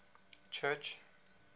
church